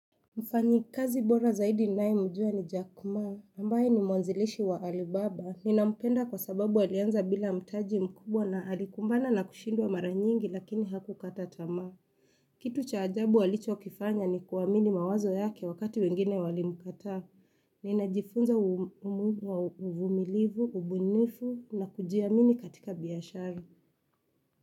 Mfanyikazi bora zaidi ninayemjua ni Jack ma, ambaye ni mwanzilishi wa Alibaba. Ninampenda kwa sababu alianza bila mtaji mkubwa na alikumbana na kushindwa mara nyingi lakini hakukata tamaa. Kitu cha ajabu alichokifanya ni kuamini mawazo yake wakati wengine walimkataa. Ninajifunza umudu wa uvumilivu, ubunifu na kujiamini katika biashara.